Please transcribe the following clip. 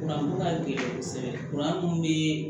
ka gɛlɛn kosɛbɛ mun be